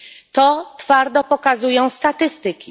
To twardo pokazują statystyki.